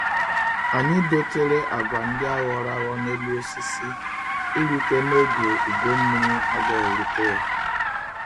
Anyi dotere agwa ndi a ghoro agho n'elu osisi irute n'ogeugo mmiri agaghi erute ya.